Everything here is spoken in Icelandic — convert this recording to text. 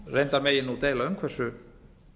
reyndar megi nú deila um hversu